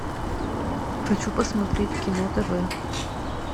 хочу посмотреть кино тв